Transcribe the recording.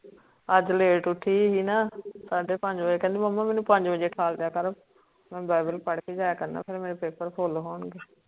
ਅੱਜ late ਉੱਠੀ ਸੀ ਨਾ ਸਾਡੇ ਪੰਜ ਬਜੇ ਕਹਿੰਦਾ ਮੰਮਾ ਮੈਨੂੰ ਜਲਦੀ ਉਠਾ ਦੀਆ ਕਰੋ ਮੈਂ bible